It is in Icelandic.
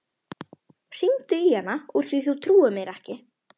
Hringdu í hana úr því þú trúir mér ekki.